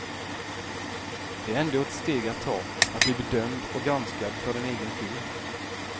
Det är ändå ett steg att ta, att bli bedömd och granskad för en egen film.